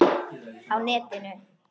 Á netinu